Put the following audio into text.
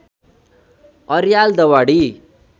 Aryal Dawadi